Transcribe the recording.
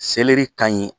Seleri ka ɲi